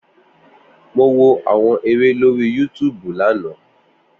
Mo wo àwọn eré lórí yútúbú lánàá.